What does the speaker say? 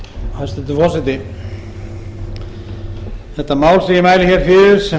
háttvirtum þingmanni grétari mar jónssyni háttvirtur þingmaður er svo sem